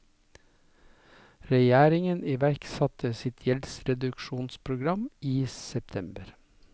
Regjeringen iverksatte sitt gjeldsreduksjonsprogram i september.